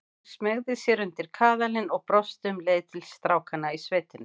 Hún smeygði sér undir kaðalinn og brosti um leið til strákanna í sveitinni.